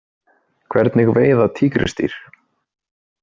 Hvernig veiða tígrisdýr?